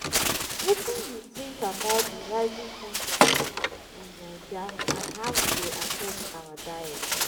wetin you think about di rising cost of food in naija and how e dey affect our diet?